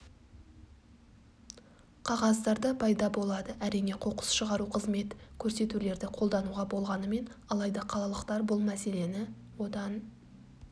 қағаздарда пайда болады әрине қоқыс шығару қызмет көрсетулерді қолдануға болғанымен алайда қалалықтар бұл мәселені одан